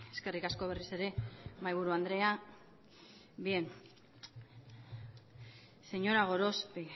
eskerrik asko berriz ere mahai buru andrea bien señora gorospe